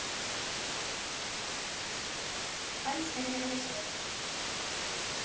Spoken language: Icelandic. Elsku amma í sveit.